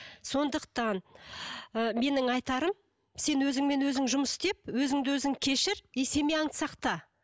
сондықтан ы менің айтарым сен өзіңмен өзің жұмыс істеп өзіңді өзің кешір и семьяңды сақта